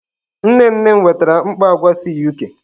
Nne nne m wetara mkpọ agwa si UK.